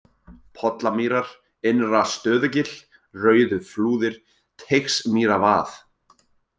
Pollamýrar, Innra-Stöðugil, Rauðuflúðir, Teigsmýravað